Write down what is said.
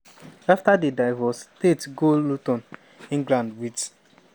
afta di divorce tate go luton england wit